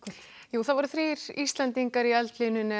það voru þrír Íslendingar í eldlínunni á